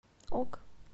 ок